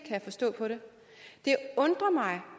jeg forstå på det det undrer mig